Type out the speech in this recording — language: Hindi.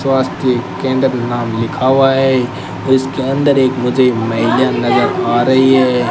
स्वास्थ केंद्र नाम लिखा हुआ है इसके अंदर एक मुझे महिला नजर आ रही है।